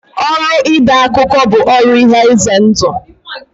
Ọrụ ide akụkọ bụ ọrụ ihe ize ndụ.